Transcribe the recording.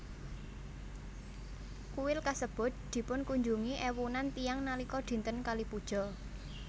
Kuil kasebut dipunkunjungi éwunan tiyang nalika dinten Kali Puja